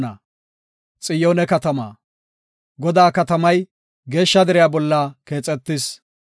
Godaa katamay, geeshsha deriya bolla keexetis.